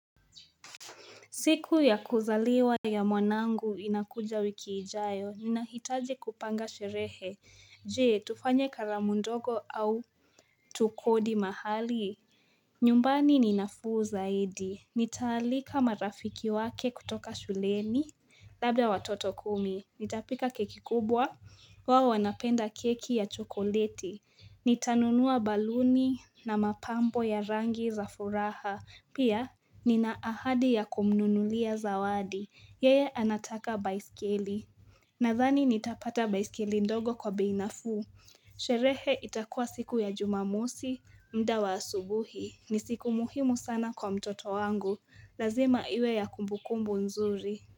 Siku ya kuzaliwa ya mwanangu inakuja wiki ijayo. Ninahitaji kupanga sherehe. Je, tufanye karamu ndogo au tukodi mahali. Nyumbani ninafuu zaidi. Nitaalika marafiki wake kutoka shuleni labda watoto kumi. Nitapika keki kubwa wao wanapenda keki ya chokoleti. Nitanunua baluni na mapambo ya rangi za furaha. Pia nina ahadi ya kumununulia zawadi. Yeye anataka baiskeli. Nadhani nitapata baiskeli ndogo kwa bei nafuu. Sherehe itakua siku ya jumamosi, muda wa asubuhi. Ni siku muhimu sana kwa mtoto wangu. Lazima iwe ya kumbukumbu nzuri.